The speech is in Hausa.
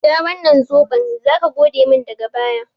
Sha wannan zoɓon! zaka godemin daga baya.